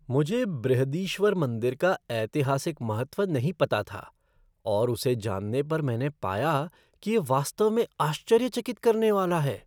मुझे बृहदीश्वर मंदिर का ऐतिहासिक महत्व नहीं पता था और उसे जानने पर मैंने पाया कि यह वास्तव में आश्चर्यचकित करने वाला है।